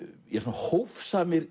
hófsamir